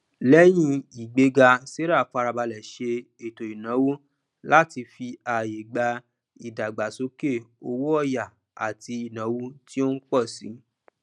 lẹyìn ìgbéga sarah fara balẹ se ètòìnáwó láti fi ààyè gba ìdàgbàsókè owóọyà àti ìnáwó tí ó n pọ si